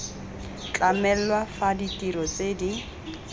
tlamelwa fa ditiro tse di